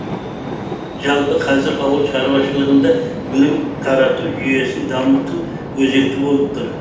жалпы қазір ауыл шаруашылығында білім тарату жүйесін дамыту өзекті болып тұр